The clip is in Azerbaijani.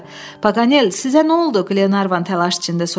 Paqanel, sizə nə oldu, Qlenarvan təlaş içində soruşdu.